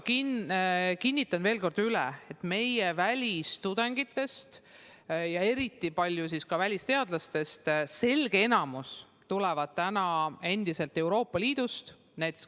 Kinnitan veel kord üle, et meie välistudengitest ja eriti välisteadlastest selge enamik tuleb täna endiselt Euroopa Liidust.